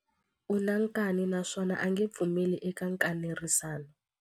U na nkani naswona a nge pfumeli eka nkanerisano.